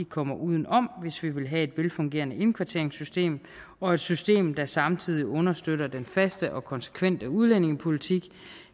kommer uden om hvis vi vil have et velfungerende indkvarteringssystem og et system der samtidig understøtter den faste og konsekvente udlændingepolitik